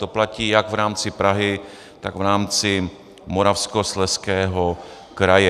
To platí jak v rámci Prahy, tak v rámci Moravskoslezského kraje.